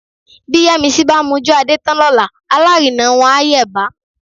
Bí Yẹ́misí bá mojú Adé tán lọ́la alárinà wọn á yẹ̀bá